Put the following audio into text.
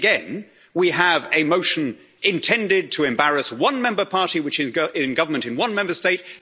Yet again, we have a motion intended to embarrass one member party which is in government in one Member State.